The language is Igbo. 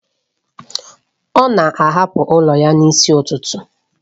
Ọ na-ahapụ ụlọ ya n'isi ụtụtụ